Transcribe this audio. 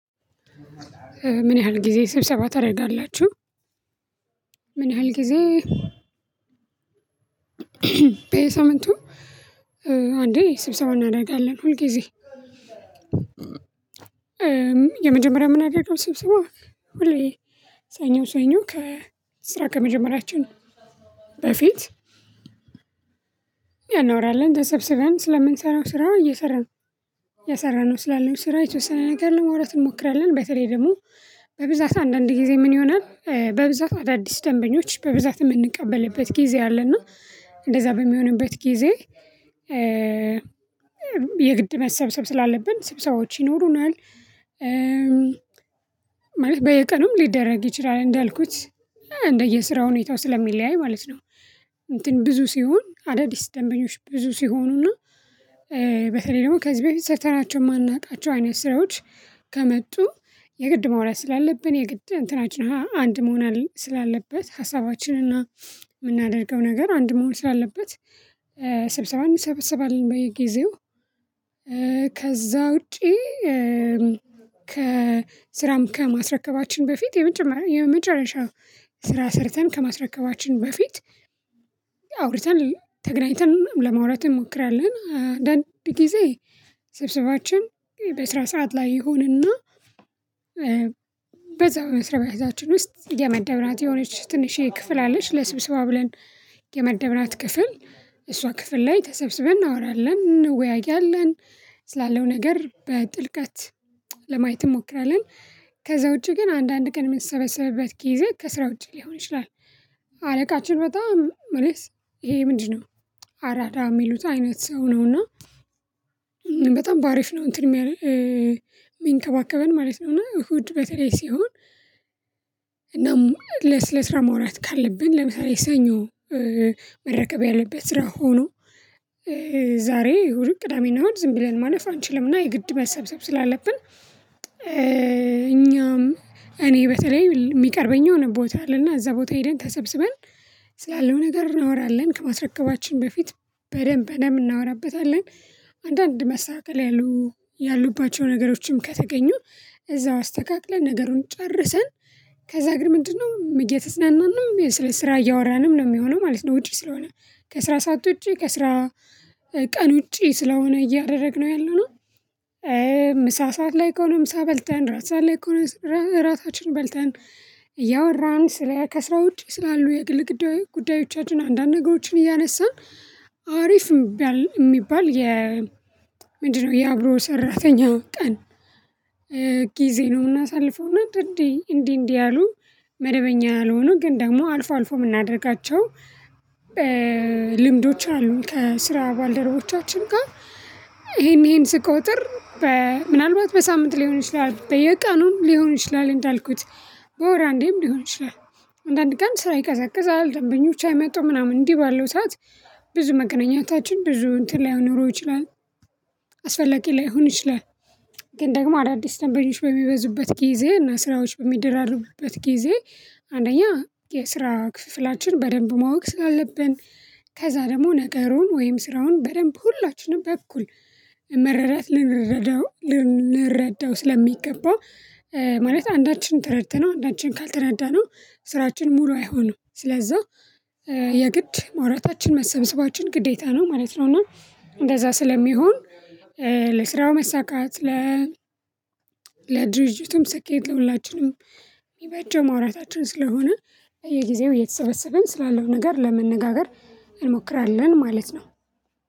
ምን ያህል ጊዜ ስብሰባ ታደርጋላችሁ? ምን ያህል ጊዜ? በየሳምንቱ አንዴ ስብሰባ እናደርጋለን ሁል ጊዜ የመጀመሪያ ምናደርገው ስብሰባ ሁሌ ሰኞ ሰኞ ከስራ ከመጀመሪያችን በፊት እናወራለን ተሰብስበን ስለምንሰራው ስራው እየሰራን እሰራነው ስላለው ስራ የተወሰነ ነገር ለመውራት እንሞክራለን በተለይ ደግሞ በብዛት አንዳንድ ጊዜ ምን ይሆናል በብዛት አዳዲስ ደንበኞች በብዛት የምንቀበልበት ጊዜ አለና እና እንደዛ በሚሆንበት ጊዜ የግድ መሰብሰብ ስላለብን ስብሰባዎች ይኖሩናል። ማለት በየቀኑም ሊደረግ ይችላል እንዳልኩት እንደየስራ ሁኔታው ስለሚለያይ ማለት ነው። እንትን ብዙ ሲሆን አዳዲስ ደንበኞች ብዙ ሲሆኑና በተለይ ደግሞ ከዚህ በፊት ሰርተናቸው የማናውቃቸው አይነት ስራዎች ከመጡ የግድ መውራት ስላለብን የግድ እንትናችን ላይ አንድ መሆን ስላለበት ሀሳባችንና የምናደርገው ነገር አንድ መሆን ስላለበት ስብሰባ እንሰበሰባለን በየጊዜው። ከዛ ውጪ ከስራም ከማስረከባችን በፊት የመጀመሪያ የመጨረሻ ስራ ሰርተን ከማስረከባችን በፊት አውርተን ተገናኝተን ለመውራት እንሞክራለን። አንዳንድ ጊዜ ስብሰባችን በስራ ሰዓት ላይ ይሁንና በዚያው መስሪያ ውስጥ የመደብናት የሆነች ትንሽዬ ክፍል አለች ለስብስብ ብለን የመደብናት ክፍል እሷ ክፍል ላይ ተሰብስበን እናወራለን እንወያያለን። ስላለው ነገር በጥልቀት ለማየት እንሞክራለን። ከዛ ውጪ ግን አንዳንድ ቀን የምንሰበሰብበት ጊዜ ከስራ ውጪ ሊሆን ይችላል። አለቃችን በጣም መልስ ይሄ ምንድነው? አራዳ የሚሉት አይነት ሰው ነው እና በጣም ባሪፍ ነው እንትን የሚንከባከበን ማለት ነው። እና እሁድ በተለይ ሲሆን ለም ለሴ ለስራ ማውራት ካለብን ለምሳሌ ሰኞ መረከብ ያለበት ስራ ሆኖ ዛሬ ወይም ቅዳሜና እሁድ ዝም ብለን ማለፍ አንችልምና የግድ መሰብሰብ ስላለብን። እኛም እኔ በተለይ የሚቀርበኝ የሆነ ቦታ አለና እዛ ቦታ ሄደን ተሰብስበን ስላለው ነገር እናወራለን ከማስረከባችን በፊት በደንብ በደንብ እናወራበታለን። አንዳንድ መስተካከል ያሉ ያሉባቸው ነገሮችም ከተገኙ እዛው አስተካክለን ነገሩን ጨርሰን ከዛ ጌን ምንድነው እየተዝናናን ነው ወይ ስለሰራ እያወራን ነው የሚሆነው ማለት ነው። ውጪ ስለሆነ ከስራ ሰዓት ውጪ ከስራ ቀን ውጪ ስለሆነ እያደረግነው ያለው ነው። ምሳ ሰዓት ላይ ከሆነ ምሳ በልተን ራት ሰዓት ላይ ከሆነ ራ ራታችን በልተን እያወራን ስለ ከሰው እጅ ስላሉ የግል ግዳይ ጉዳዮቻችን አንዳንድ ነገሮችን እያነሳን አሪፍ ሚባል ሚባል የ ምንድነው የአብሮ ሰራተኛ ቀን? ጊዜ ነው የምናሳልፈው እና እንዲ እንዲ እንዲ ያሉ መደበኛ ያልሆኑ ግን ደግሞ አልፎ አልፎ የምናደርጋቸው። ልምዶች አሉ ከስራ ባልደረቦቻችን ጋር። ይሄን ይሄን ስቆጥር በምናልባት በሳምንት ሊሆን ይችላል በየቀኑም ሊሆን ይችላል እንዳልኩት በወር አንዴም ሊሆን ይችላል። አንዳንድ ቀን ስራ ይቀዘቅዛል ደንበኞች አይመጣውም ምናምን እንዲህ ባለው ሰዓት ብዙ መገናኛታችን ብዙ እንትን ላይኖረው ይችላል። አስፈላጊ ላይሆን ይችላል። ግን ደግሞ አዳዲስ ደንበኞች በሚበዙበት ጊዜ እና ስራዎች በሚደራሩበት ጊዜ አንደኛ የስራ ክፍፍላችን በደንብ ማወቅ ስላለብን ከዛ ደግሞ ነገሩን ወይም ስራውን በደንብ ሁላችንም በኩል መረዳት ልንረዳው ልንረዳው ስለሚገባ። ማለት አንዳችን ተረድተነው አንዳችን ካልተረዳነው ስራችን ሙሉ አይሆኑም ስለዛ የግድ ማውራታችን መሰብሰባችን ግዴታ ነው ማለት ነው። እና እንደዛ ስለሚሆን ለስራው መሳካት ለ ለድርጅቱም ስኬት ለሁላችንም የሚበጀው ማውራታችን ስለሆነ በየጊዜው የተሰበሰበን ስላለው ነገር ለመነጋገር እንሞክራለን ማለት ነው።